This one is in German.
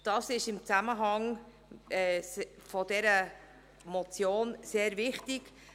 Dies ist im Zusammenhang mit dieser Motion sehr wichtig.